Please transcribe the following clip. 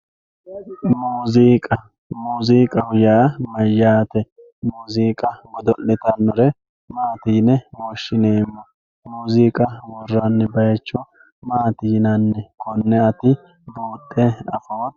muuziiqa muuziiqaho yaa mayaate muuziiqa godo'litannore maati yine woshshineemo muuziiqa worranni bayiicho maati yinanni konne ati buudhe afooto